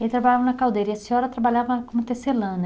Ele trabalhava na caldeira e a senhora trabalhava como tecelã, né?